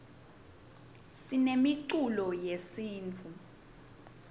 sinemiculo yesintfu